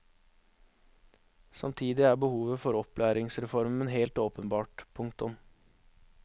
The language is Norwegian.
Samtidig er behovet for opplæringsreformen helt åpenbart. punktum